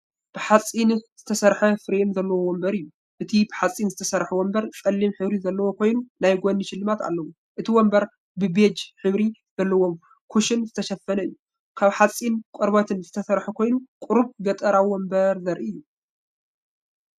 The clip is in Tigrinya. ብሓጺን ዝተሰርሐ ፍሬም ዘለዎ መንበር እዩ። እቲ ብሓጺን ዝተሰርሐ መንበር ጸሊም ሕብሪ ዘለዎ ኮይኑ ናይ ጎኒ ሽልማት ኣለዎ። እቲ መንበር ብቤጅ ሕብሪ ዘለዎም ኩሽን ዝተሸፈነ እዩ። ካብ ሓጺንን ቆርበትን ዝተሰርሐ ኮይኑ፡ ቁሩብ ገጠራዊ መንበር ዘርኢ እዩ።